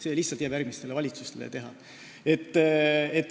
See lihtsalt jääb järgmiste valitsuste teha.